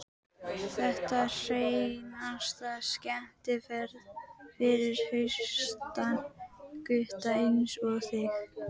Þetta er hreinasta skemmtiferð fyrir hraustan gutta einsog þig.